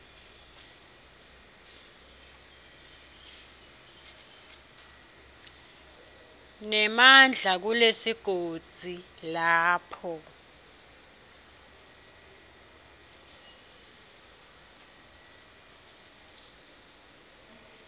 nemandla kulesigodzi lapho